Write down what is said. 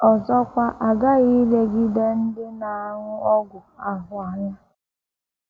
Ọzọkwa, a ghaghị ilegide ndị na - aṅụ ọgwụ ahụ anya.